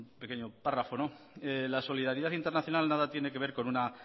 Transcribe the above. pequeño párrafo la solidaridad internacional nada tiene que ver con una